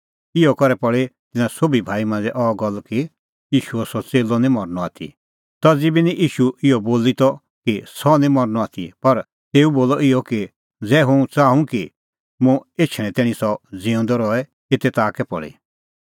इहअ करै पल़ी तिन्नां सोभी भाई मांझ़ै अह गल्ल कि ईशूओ सह च़ेल्लअ निं मरनअ आथी तज़ी बी निं ईशू इहअ बोली त कि सह निं मरनअ आथी पर तेऊ बोलअ त इहअ कि ज़ै हुंह च़ाहूं कि मुंह एछणें तैणीं सह ज़िऊंदअ रहे एते ताह कै पल़ी